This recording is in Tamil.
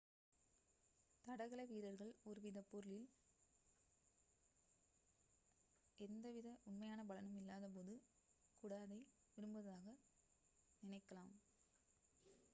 தடகள வீரர்கள் ஒரு பொருளில் எந்த வித உண்மையான பலனும் இல்லாத போது கூட அதை விரும்புவதாக நினைக்கலாம்